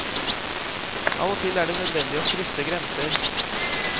Av og til er det nødvendig å krysse grenser.